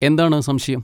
എന്താണ് സംശയം?